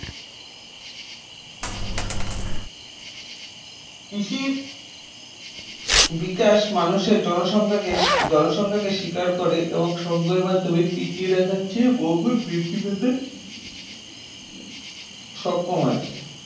কৃষির বিকাশ মানুষের জনসংখ্যাকে জনসংখ্যাকে শিকার করে এবং সংগ্রহের মাধ্যমে টিকিয়ে রাখার চেয়ে বহুগুণ বৃদ্ধি পেতে সক্ষম হয়েছে